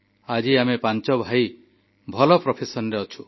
ଆଜି ଆମେ ପାଞ୍ଚ ଭାଇ ଭଲ ପେସାରେ ଅଛୁ